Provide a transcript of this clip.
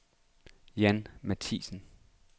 Jan Matthiesen